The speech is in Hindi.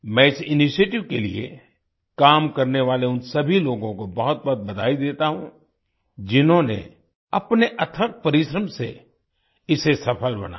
मैं इस इनिशिएटिव के लिए काम करने वाले उन सभी लोगों को बहुत बहुत बधाई देता हूँ जिन्होंने अपने अथक परिश्रम से इसे सफल बनाया